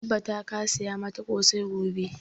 Ka tabbata ka saya mata ƙosai gobe!